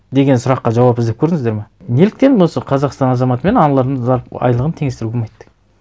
деген сұраққа жауап іздеп көрдіңіздер ме неліктен осы қазақстан азаматы мен аналардың айлығын теңестіруге болмайды